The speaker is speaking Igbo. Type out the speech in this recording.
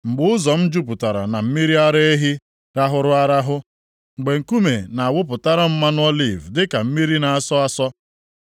mgbe ụzọ m jupụtara na mmiri ara ehi rahụrụ arahụ, mgbe nkume na-awụpụtara m mmanụ oliv dịka mmiri na-asọ asọ.